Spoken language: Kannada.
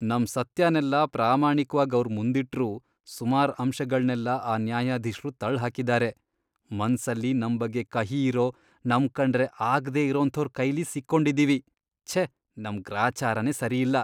ನಮ್ ಸತ್ಯನೆಲ್ಲ ಪ್ರಾಮಾಣಿಕ್ವಾಗ್ ಅವ್ರ್ ಮುಂದಿಟ್ರೂ ಸುಮಾರ್ ಅಂಶಗಳ್ನೆಲ್ಲ ಆ ನ್ಯಾಯಾಧೀಶ್ರು ತಳ್ಳ್ಹಾಕಿದಾರೆ. ಮನ್ಸಲ್ಲಿ ನಮ್ ಬಗ್ಗೆ ಕಹಿ ಇರೋ, ನಮ್ಕಂಡ್ರೆ ಆಗ್ದೇ ಇರೋಂಥೋರ್ ಕೈಲಿ ಸಿಕ್ಕೊಂಡಿದೀವಿ, ಛೇ, ನಮ್ ಗ್ರಾಚಾರನೇ ಸರಿಯಿಲ್ಲ.